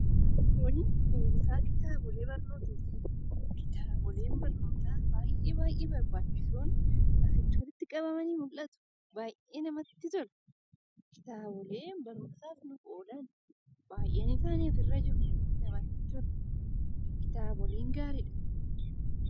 Kuni kuusaa kitaabolee barnootaati, kitaaboleen barnootaa baayyee baayyee barbaachisoon, asitti walitti qabamanii mul'atu. Baayyee namatti tolu. Kitaaboleen barumsaaf oolan, baayyeen isaanii asirra jiru namatti tolu. Kitaaboleen gaariidha.